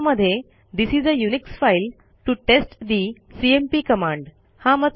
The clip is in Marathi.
यामध्ये this is a Unix file to test the cmp command